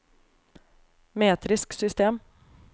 metrisk system